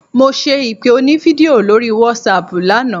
Mo ṣe ìpè onífídíò lórí wásaàpù lánàá.